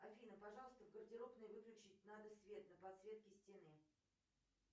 афина пожалуйста в гардеробной выключить надо свет на подсветке стены